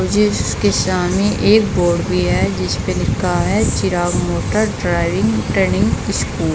जिसके सामने एक बोर्ड भी है जिस पर लिखा है Chirag motor driving training school.